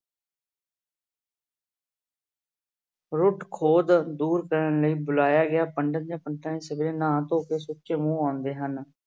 ਦੂਰ ਕਰਨ ਲਈ ਬੁਲਾਇਆ ਗਿਆ ਪੰਡਿਤ ਜਾਂ ਸਵੇਰੇ ਨਹਾ ਧੋ ਕੇ ਸੁੱਚੇ ਮੂੰਹ ਆਉਂਦੇ ਹਨ।